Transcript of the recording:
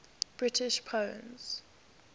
british poems